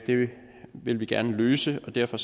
vil vi gerne løse og derfor